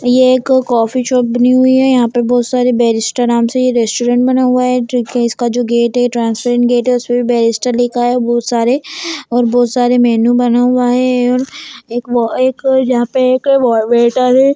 ये एक coffee shop बनी हुई है यहाँ पे बहुत सारे बैरिस्टा नाम से ये रेस्टोरंट बना हुआ है ठीक है इसका जो गेट है ट्रांसपेरेंट गेट है उसपे भी बैरिस्टा लिखा है बहुत सारे और बहुत सारे मेनू बना हुआ है और एक और एक यहाँ पे एक व वेटर है।